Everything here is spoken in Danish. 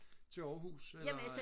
til Aarhus eller